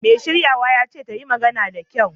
Mai shiryawa ya ce ta yi magana da kyau!